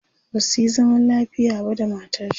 basuyi zaman lafiya ba da matarshi